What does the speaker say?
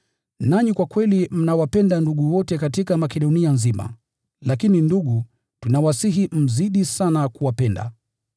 Nanyi kwa kweli mnawapenda ndugu wote katika Makedonia nzima. Lakini ndugu, tunawasihi mzidi sana kuwapenda.